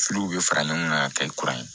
bɛ fara ɲɔgɔn kan ka kɛ kuran ye